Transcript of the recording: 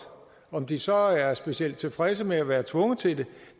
om de så er specielt tilfredse med at være tvunget til det